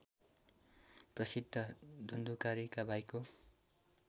प्रसिद्ध धुन्धुकारीका भाइको